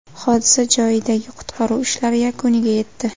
Hodisa joyidagi qutqaruv ishlari yakuniga yetdi.